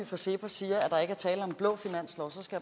fra cepos siger